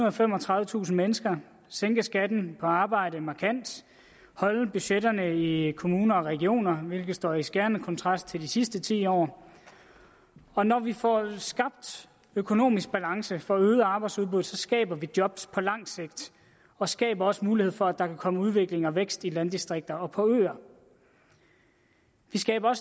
og femogtredivetusind mennesker sænke skatten på arbejde markant holde budgetterne i kommuner og regioner hvilket står i skærende kontrast til de sidste ti år og når vi får skabt økonomisk balance og får øget arbejdsudbuddet skaber vi job på langt sigt og skaber også mulighed for at der kan komme udvikling og vækst i landdistrikter og på øer vi skaber